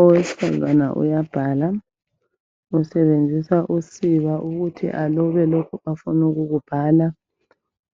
Owesifazana uyabhala usebenzisa usiba ukuthi alobe lokho afunukukubhala